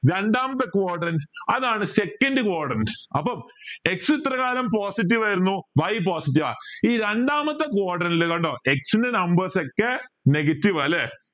രണ്ടാമത്തെ quadrant അതാണ്‌ second quadrant അപ്പം x ഇത്ര കാലം positive ആയിരുന്നു y positive ആ ഈ രണ്ടാമത്തെ quadrant ൽ കണ്ടോ x ൻ്റെ numbers ഒക്കെ negative ആ അല്ലെ